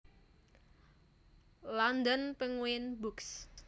London Penguin Books